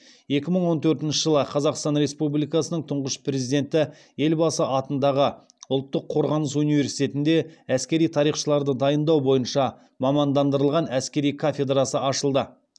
екі мың он төртінші жылы қазақстан республикасының тұңғыш президенті елбасы атындағы ұлттық қорғаныс университетінде әскери тарихшыларды дайындау бойынша мамандандырылған әскери кафедрасы ашылды